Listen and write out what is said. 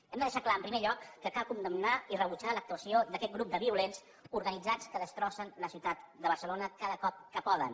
hem de deixar clar en primer lloc que cal condemnar i rebutjar l’actuació d’aquest grup de violents organitzats que destrossen la ciutat de barcelona cada cop que poden